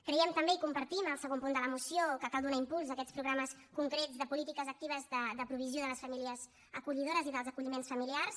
creiem també i compartim el segon punt de la moció que cal donar impuls a aquests programes concrets de polítiques actives de provisió de les famílies acollidores i dels acolliments familiars